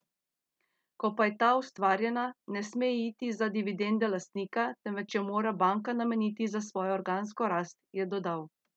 Ko pa je ta ustvarjena, ne sme iti za dividende lastnika, temveč jo mora banka nameniti za svojo organsko rast, je dodal.